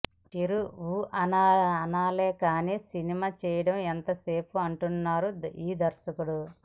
చిరు ఊ అనాలే కానీ సినిమా చేయడం ఎంతసేపు అంటున్నాడు ఈ దర్శకుడు